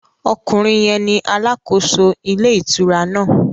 Okùnrin yẹn ni alàkóso ilé ìtura náà